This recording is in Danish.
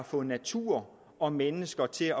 få natur og mennesker til